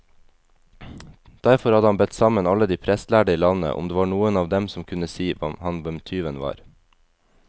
Derfor hadde han bedt sammen alle de prestlærde i landet, om det var noen av dem som kunne si ham hvem tyven var.